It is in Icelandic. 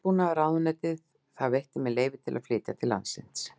Landbúnaðarráðuneytið að það veitti mér leyfi til að flytja til landsins